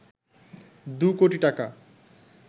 দু কোটি টাকা